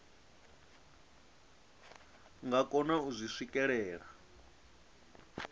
nga kona u zwi swikelela